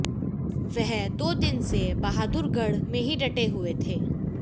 वह दो दिन से बहादुरगढ़ में ही डटे हुए थे